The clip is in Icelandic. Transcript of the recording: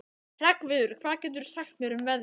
Hreggviður, hvað geturðu sagt mér um veðrið?